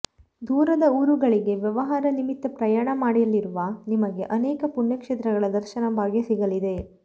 ದೂರದ ಊರುಗಳಿಗೆ ವ್ಯವಹಾರ ನಿಮಿತ್ತ ಪ್ರಯಾಣ ಮಾಡಲಿರುವ ನಿಮಗೆ ಅನೇಕ ಪುಣ್ಯಕ್ಷೇತ್ರಗಳ ದರ್ಶನ ಭಾಗ್ಯ ಸಿಗಲಿದೆ